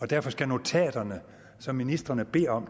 derfor skal notaterne som ministrene beder om